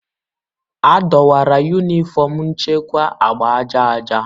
Adọwara Yunifọm nchekwa agba aja aja.